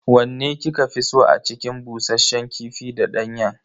Wanne kika fi so a cikin bushasshen kifi da danyen?